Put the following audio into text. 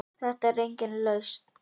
Þetta er engin lausn.